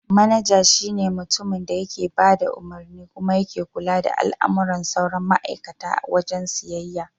Manaja shi ne mutumin da yake bada umarni kuma yake kula da al'amuran sauran ma'aikata a wajen siyayya.